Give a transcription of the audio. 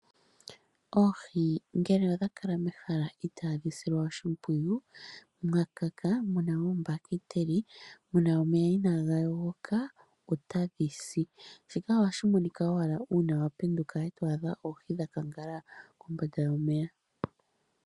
Oohi ngele odhakala mehala itaaadhi silwa oshimpwiyu ,mwa kaka nenge muna oombahiteli , muna omeya inaaga yogoka otadhi si. Shika ohashi monika ngele wa penduka e to adha oohi dha kangawala kombanda yomeya.